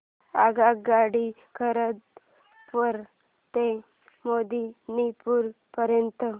आगगाडी खरगपुर ते मेदिनीपुर पर्यंत